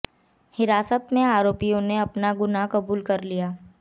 हिरासत में आरोपियों ने अपना गुनाह कबूल कर लिया